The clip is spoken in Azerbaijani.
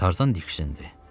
Tarzan diksindi.